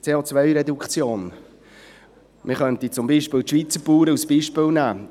CO-Reduktion: Man könnte beispielsweise die Schweizer Bauern als Beispiel nehmen.